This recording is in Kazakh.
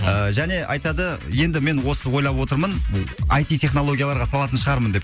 және айтады енді мен осы ойлап отырмын айти технологияларға салатын шығармын деп